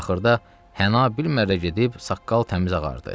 Axırda hına bilmərrə gedib saqqal təmiz ağardı.